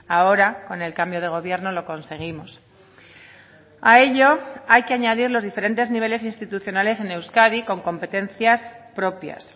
ahora con el cambio de gobierno lo conseguimos a ello hay que añadir los diferentes niveles institucionales en euskadi con competencias propias